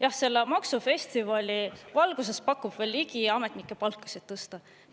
Jah, selle maksufestivali valguses pakub veel Ligi ametnike palkasid tõsta.